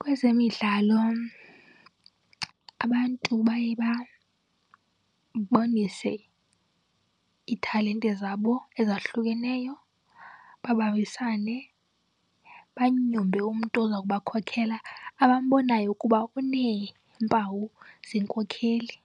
Kwezemidlalo abantu baye babonise iitalente zabo ezahlukeneyo, babambisane, banyumbe umntu oza kuba khokhela abambonayo ukuba uneempawu zenkokeli.